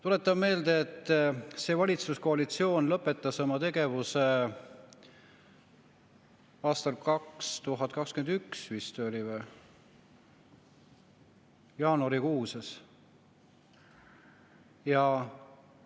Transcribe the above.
Tuletan meelde, et see valitsuskoalitsioon lõpetas oma tegevuse aastal 2021 jaanuarikuus, vist oli nii.